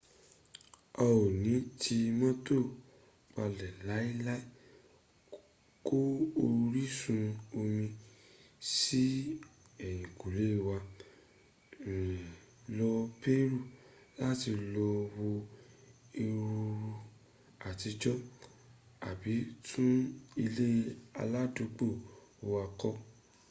a o ni ti moto pale lai lai ko orisun omi si eyinkule wa rin lo peru lati lo wo erunrun atijo abi tun ile aladugbo wa ko